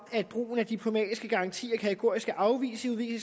brugen af diplomatiske garantier og kategoriske afvisninger i